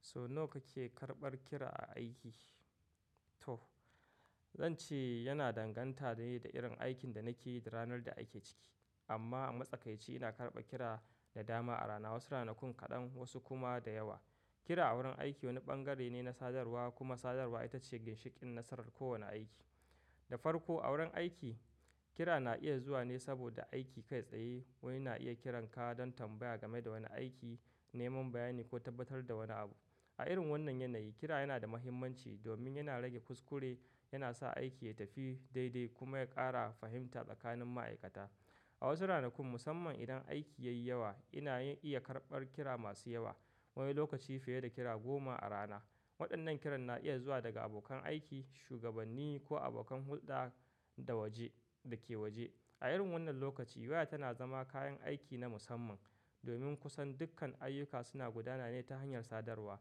So nawa kake karɓar kira a aiki? To zan ce yana danganta dai da irin aikin da nake yi da ranar da ake ciki. Amma a matsakaici ina karɓa kira da dama a rana, wasu ranakun kaɗan wasu kuma da yawa. Kira a wurin aiki wani bangare ne na sadarwa kuma sadarwa ita ce ginshiƙin nasarar kowane aiki. Da farko a wurin aiki kira na iya zuwa ne saboda aiki kai tsaye. Wani na iya kiran ka don tambaya game da wani aiki, neman bayani ko tabbatar da wani abu. A irin wannan yanayi kira yana da mahimmanci domin yana rage kuskure, yana sa aiki ya tafi daidai kuma ya ƙara fahimta tsakanin ma'aikata. A wasu ranakun musamman idan aiki yayi yawa ina iya karɓar kira masu yawa. Wani lokaci fiye da kira goma a rana. Waɗannan kiran na iya zuwa daga abokan aiki, shugabanni ko abokan hulɗa da waje dake waje. A irin wannan lokaci waya tana zama kayan aiki na musamman domin kusan dukkan ayyuka suna gudana ne ta hanyar sadarwa.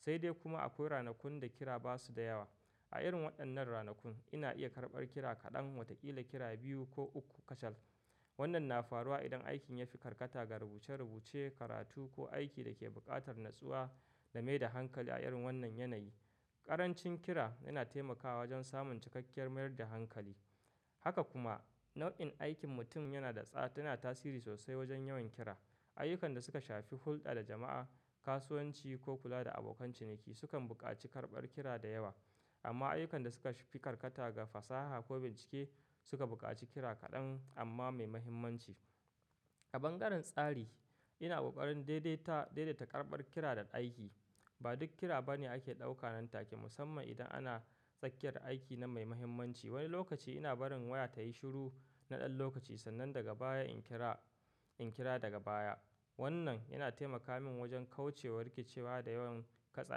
Sai dai kuma akwai ranakun da kira basu da yawa. A irin waɗannan ranakun ina iya karɓar kira kaɗan, watakila kira biyu ko uku kacal. Wannan na faruwa idan aikin ya fi karkata ga rubuce rubuce, karatu ko aiki da ke buƙatar natsuwa da mai da hankali a irin wannan yanayi. Ƙarancin kira yana taimakawa wajen samun cikakkiyar mayar da hankali. Haka kuma nau'in aikin mutum yana da tsada tana tasiri sosai wajen yawan kira. Ayyukan da suka shafi hulɗa da jama'a, kasuwanci ko kula da abokan ciniki sukan buƙaci karɓar kira da yawa. Amma ayyukan da suka shafi karkata ga fasaha ko bincike suka buƙaci kira kaɗan amma mai mahimmanci. A bangaren tsari ina ƙoƙarin daidaita karɓar kira da aiki. Ba duk kira bane ake ɗauka nan take musamman idan ana tsakiyar aiki na mai mahimmanci. Wani lokaci ina barin waya tayi shiru na ɗan lokaci sannan daga baya in kira, in kira daga baya. Wannan yana taimaka min wajen kauce wa rikicewa da yawan kasa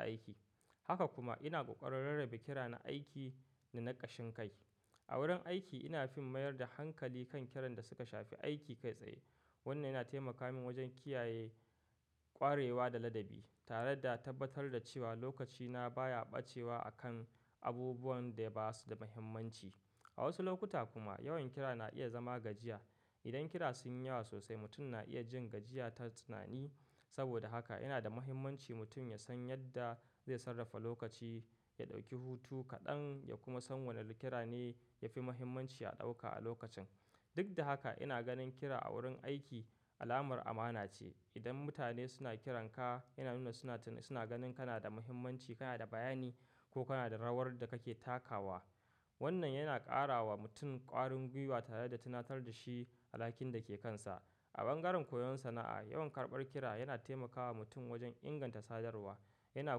aiki. Haka kuma ina ƙoƙarin rarrabe kira na aiki da na ƙashin kai. A wurin aiki ina fin mayar da hankali kan kiran da suka shafi aiki kai tsaye. Wannan yana taimaka min wajen kiyaye ƙwarewa da ladabi tare da tabbatar da cewa lokacina baya ɓacewa a kan abubuwan da basu da mahimmanci. A wasu lokuta kuma yawan kira na iya zama gajiya. Idan kira sun yi yawa sosai mutum na iya jin gajiya ta tunani. Saboda haka yana da mahimmanci mutum ya san yadda zai sarrafa lokaci, ya ɗauki hutu kaɗan ya kuma san wane kira ne yafi mahimmanci a ɗauka a lokacin. Duk da haka ina ganin kira a wurin aiki alamar amana ce. Idan mutane suna kiran ka yana nuna suna, suna ganin kana da mahimmanci, kana da bayani ko kana da rawar da kake takawa. Wannan yana ƙarawa mutum ƙwarin gwiwa tare da tunatar da shi alhakin da ke kansa. A bangaren koyon sana'a yawan karɓar kira yana taimakawa mutum wajen inganta sadarwa. Yana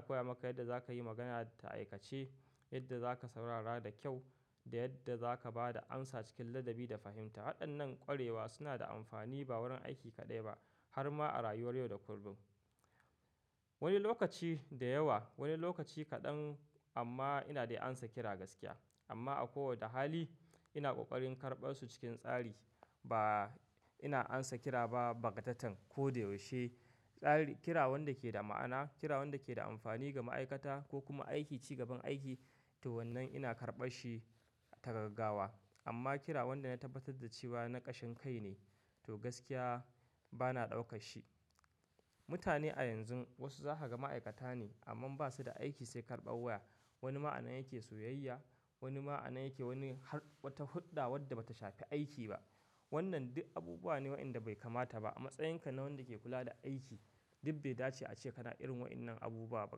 koya maka yadda zakayi magana ta aikace, yadda zaka saurara da kyau da yadda zaka ba da amsa cikin ladabi da fahimta. Waɗannan ƙwarewa suna da amfani ba wurin aiki kaɗai ba har ma a rayuwar yau da kullum. Wani lokaci da yawa, wani lokaci kaɗan amma ina dai amsa kira gaskiya. Amma a kowace hali ina ƙoƙarin karɓar su cikin tsari. Ba ina amsa kira ba bagatatan ko da yaushe. Tsari, kira wanda ke da ma'ana, kira wanda ke da amfani ga ma'aikata ko kuma aiki, cigaban aiki to wannan ina karɓar shi ta gaggawa. Amma kira wanda na tabbatar da cewa na ƙashin kai ne to gaskiya bana ɗauka shi. Mutane a yanzu wasu zaka ga ma'aikata ne amma basu da aiki sai karɓar waya. Wani ma anan yake soyayya, wani ma anan yake wani har wata hudɗa wadda bata shafi aiki ba. Wannan duk abubuwa ne waɗanda bai kamata ba. A matsayinka na wanda ke kula da aiki duk bai dace a ce kana irin waɗannan abubuwa ba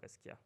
gaskiya.